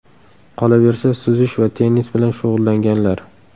Qolaversa, suzish va tennis bilan shug‘ullanganlar.